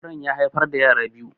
Auren ƴa haifar da yara biyu.